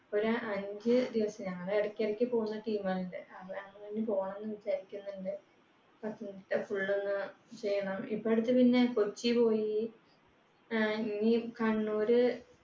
ഒരഞ്ചു ദിവസം ഞങ്ങൾ ഇടക്കിടക്ക് പോകുന്ന team ആണ് പോകണമെന്ന് വിചാരിക്കുന്നുണ്ട്. ഇപ്പൊ അടുത്തുപിന്നെ കൊച്ചി പോയി. ഇനി കണ്ണൂര്